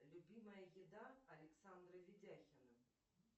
любимая еда александра ведяхина